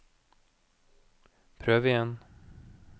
prøv igjen